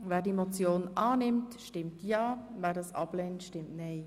Wer die Motion annimmt, stimmt ja, wer sie ablehnt, stimmt nein.